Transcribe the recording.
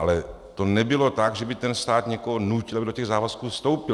Ale to nebylo tak, že by ten stát někoho nutil, aby do těch závazků vstoupil.